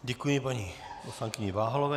Děkuji paní poslankyni Váhalové.